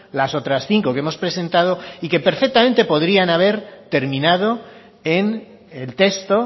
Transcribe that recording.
las otras cinco que hemos presentado y que perfectamente podrían haber terminado en el texto